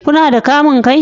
Kuna da kamun kai?